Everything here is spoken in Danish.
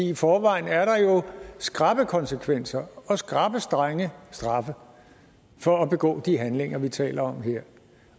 i forvejen er der jo skrappe konsekvenser og skrappe strenge straffe for at begå de handlinger vi taler om her